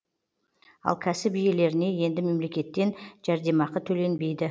ал кәсіп иелеріне енді мемлекеттен жәрдемақы төленбейді